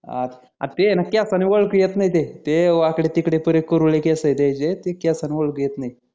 अं हा ते केसानी ओडखू येत नाही ते ते वाकडे तिकडे पुरे कुरडे केस आहे त्याचे ते केसणी ओडखू येत नाही